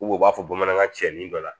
u b'a fɔ bamanankan cɛ ni dɔ la